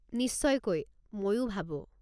নিশ্চয়কৈ, মইও ভাবো।